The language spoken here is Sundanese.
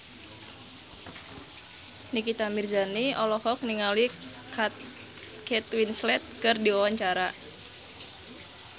Nikita Mirzani olohok ningali Kate Winslet keur diwawancara